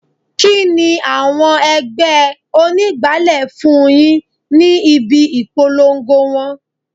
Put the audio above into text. Kini àwọn ẹgbẹ́ onígbálé fún yìí ni ibi ìpolongo wọn?